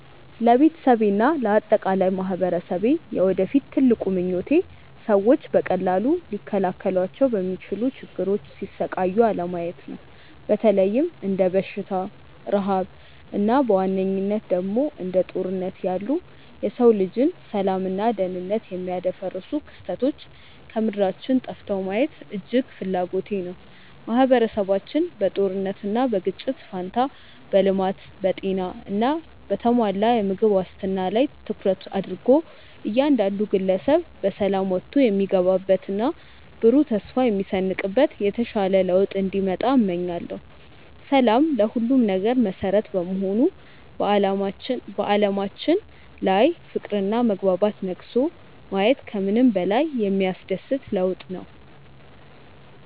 ለቤተሰቤና ለአጠቃላይ ማኅበረሰቤ የወደፊት ትልቁ ምኞቴ ሰዎች በቀላሉ ሊከላከሏቸው በሚችሉ ችግሮች ሲሰቃዩ አለማየት ነው። በተለይም እንደ በሽታ፣ ረሃብ እና በዋነኝነት ደግሞ እንደ ጦርነት ያሉ የሰው ልጅን ሰላምና ደኅንነት የሚያደፈርሱ ክስተቶች ከምድራችን ጠፍተው ማየት እጅግ ትልቅ ፍላጎቴ ነው። ማኅበረሰባችን በጦርነትና በግጭት ፋንታ በልማት፣ በጤና እና በተሟላ የምግብ ዋስትና ላይ ትኩረት አድርጎ እያንዳንዱ ግለሰብ በሰላም ወጥቶ የሚገባበትና ብሩህ ተስፋ የሚሰንቅበት የተሻለ ለውጥ እንዲመጣ እመኛለሁ። ሰላም ለሁሉም ነገር መሠረት በመሆኑ በዓለማችን ላይ ፍቅርና መግባባት ነግሶ ማየት ከምንም በላይ የሚያስደስት ለውጥ ነው።